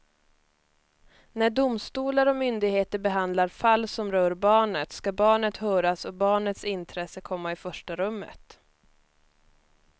När domstolar och myndigheter behandlar fall som rör barnet ska barnet höras och barnets intresse komma i första rummet.